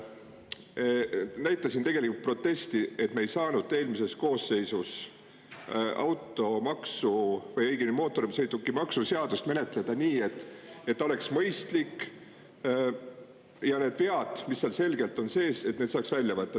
Ma näitasin tegelikult protesti, et me ei saanud eelmises koosseisus mootorsõidukimaksu seadust menetleda nii, et see oleks mõistlik ja et need vead, mis seal selgelt sees on, oleks saanud välja võtta.